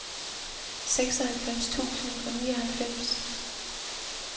seksoghalvfems tusind og nioghalvfems